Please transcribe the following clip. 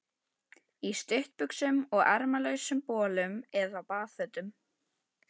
Í stuttbuxum og ermalausum bolum eða baðfötum.